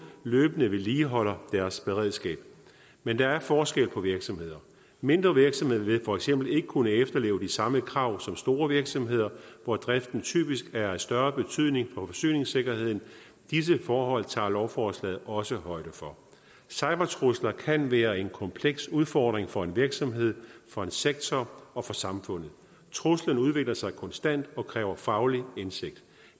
løbende vedligeholder deres beredskab men der er forskel på virksomheder mindre virksomheder vil for eksempel ikke kunne efterleve de samme krav som store virksomheder hvor driften typisk er af større betydning for forsyningssikkerheden disse forhold tager lovforslaget også højde for cybertrusler kan være en kompleks udfordring for en virksomhed for en sektor og for samfundet truslen udvikler sig konstant og kræver faglig indsigt